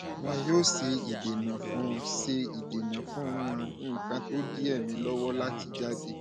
wọn yóò ṣe ìdènà fún ṣe ìdènà fún àwọn nǹkan tó ń di èémí lọwọ láti jáde